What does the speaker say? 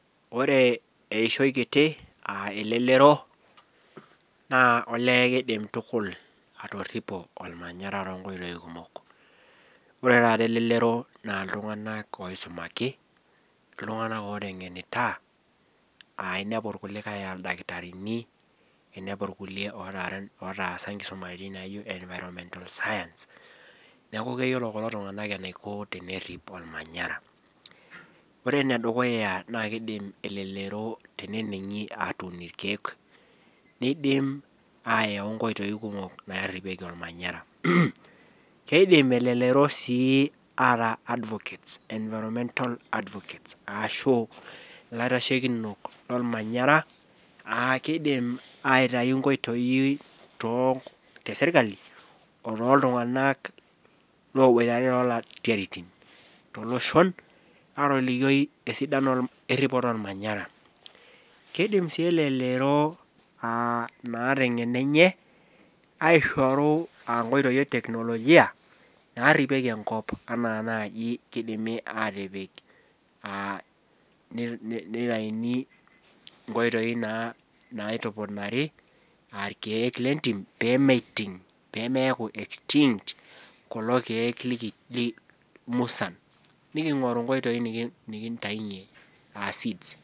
Ore eishoi kiti aa ilelero naa olee keidim tukul atorripo olmanyara tonkoitoi kumok. Ore taat elelero naa iltunganak oisumaki, iltunganak ootengenita aainiapu irkulikae aa ildakitarini, iniapu irkule otaasa enkisuma eji naijo environmental science. Neaku keyiolo kulo tunganak eneiko tenerrip olmanyara. Ore nedukuya naa keidim elelero teneningi aatoni irkiek, neidim aayau inkoitoi kumok naaripieki olmanyara. Keidim elelero sii ataa advocates, environmental advocates ashu ilaitashekinok lolmanyara aakeidim aitayu inkoitoi too, te sirkali too iltunganak loobuatare naa to loshon, aatolikoi esidano eripoto olmanyara. Keidim sii elelero naa te ingeno enyee aishoru inkoitoi eteknolojia naaripieki enkop anaaji keidimi aatipik, neitaini inkoitoi naa naitupunari irkiek le intim peemeiting, pemeaku estinged kulo irkiek lmusan. Nikingoru inkoitoi nikintainye seeds.